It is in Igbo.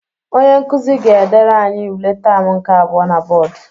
Onye nkuzi ga-edere anyi ule taam nke abụọ na bọdụ.